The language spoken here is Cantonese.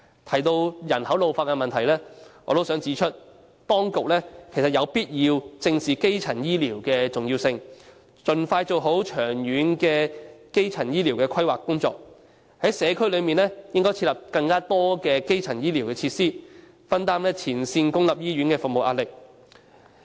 關於人口老化的問題，我想指出，當局有必要正視基層醫療的重要性，盡快做好長遠的基層醫療規劃工作，在社區設立更多基層醫療設施，分擔前線公營醫院的服務壓力。